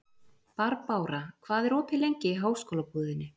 Barbára, hvað er opið lengi í Háskólabúðinni?